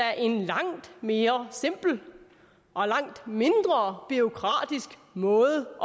er en langt mere simpel og langt mindre bureaukratisk måde